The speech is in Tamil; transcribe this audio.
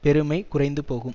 பெருமை குறைந்து போகும்